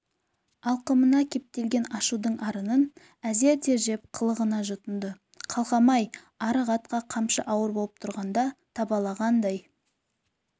алқымына кептелген ашудың арынын әзер тежеп қылғына жұтынды қалқам-ай арық атқа қамшы ауыр болып тұрғанда табалағандай